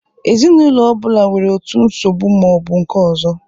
Ezinụlọ ọ bụla nwere otu nsogbu ma ọ bụ nke ọzọ